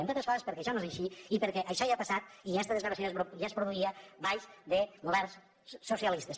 entre altres coses perquè això no és així i perquè això ja ha passat i aquesta desgravació ja es produïa sota governs socialistes